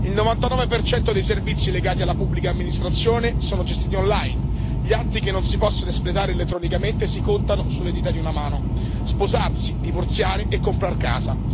Il 99 dei servizi legati alla pubblica amministrazione è gestito online, gli atti che non si possono espletare elettronicamente si contano sulle dita di una mano sposarsi, divorziare e comprar casa.